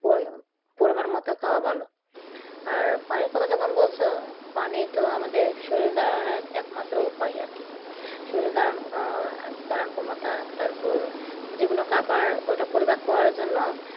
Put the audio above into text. পরিমাণ মতো খাওয়া ভালো, আর পানির কথা যখন বলছ পানি তো আমাদের শরীর দাড়ানোর একমাত্র উপায় আর কি শরীর দাড়ানো ক্ষমতা আর যে কোন খাওয়ার ওটা পরিপাক করার জন্য